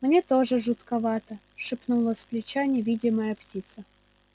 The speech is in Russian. мне тоже жутковато шепнула с плеча невидимая птица